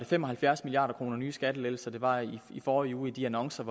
fem og halvfjerds milliard kroner i nye skattelettelser der var i i forrige uge i de annoncer